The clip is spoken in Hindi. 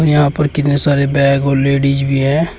यहां पर कितने सारे बैग और लेडिस भी है।